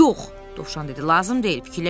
Yox, Dovşan dedi, lazım deyil fikirləşmək lazım deyil.